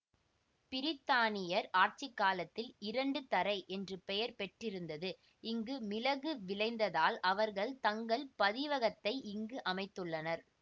பிரித்தானியர் ஆட்சி காலத்தில் இரண்டு தறை என்று பெயர் பெற்றிருந்தது இங்கு மிளகு விளைந்ததால் அவர்கள் தங்கள் பதிவகத்தை இங்கு அமைத்துள்ளனர்